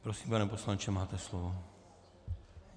Prosím, pane poslanče, máte slovo.